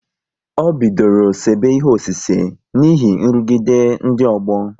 Ọ bidoro sebe ihe ọsise n'ihi nrụgide ndị ọgbọ